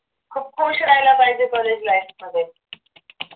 खूप खुश राहिल पाहिजे college life मध्ये